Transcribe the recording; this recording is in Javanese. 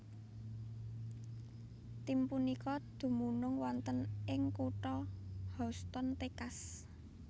Tim punika dumunung wonten ing kutha Houston Texas